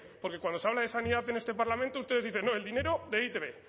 porque cuando se habla de sanidad en este parlamento ustedes dicen no el dinero de e i te be